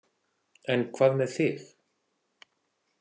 En hvað með þig?